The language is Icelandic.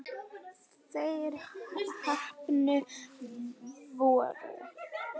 Þeir heppnu voru